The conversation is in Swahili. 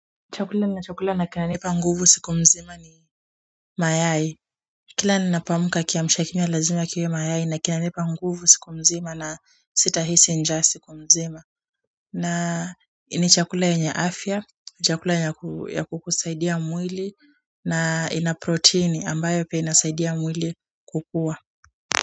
Chakula nacho kula na kina nipa nguvu siku mzima ni mayai, kila ninapoamka kiamshakinywa lazima kiwe mayai na kina nipa nguvu siku mzima na sita hisi njaa siku mzima na ni chakula yenye afya, chakula ya kukusaidia mwili na ina proteni ambayo pia inasaidia mwili kukua.